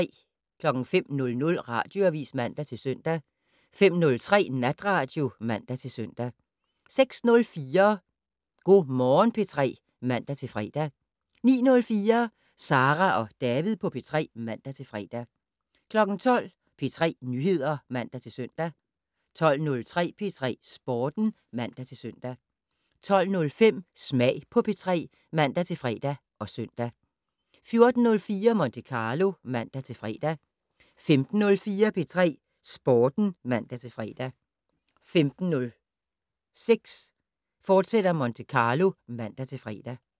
05:00: Radioavis (man-søn) 05:03: Natradio (man-søn) 06:04: Go' Morgen P3 (man-fre) 09:04: Sara og David på P3 (man-fre) 12:00: P3 Nyheder (man-søn) 12:03: P3 Sporten (man-søn) 12:05: Smag på P3 (man-fre og søn) 14:04: Monte Carlo (man-fre) 15:04: P3 Sporten (man-fre) 15:06: Monte Carlo, fortsat (man-fre)